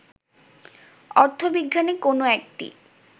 অর্থবিজ্ঞানে কোন একটি